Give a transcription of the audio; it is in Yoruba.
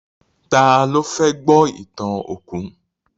Tá lo fẹ́ gbọ́ ìtàn òkú?